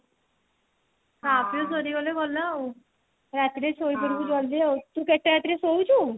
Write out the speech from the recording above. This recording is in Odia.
ଖା ପୀୟ ସାରି ଗଲେ ଗଲା ଆଉ ରାତିରେ ସୋଇ ପଡିବୁ ଜଲଦି ତୁ କେତେ ରାତିରେ ରେ ଶୋଉଛୁ